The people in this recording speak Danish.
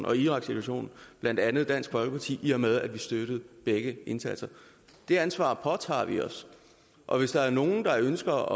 og iraksituationen blandt andet dansk folkeparti i og med at vi støttede begge indsatser det ansvar påtager vi os og hvis der er nogen der ønsker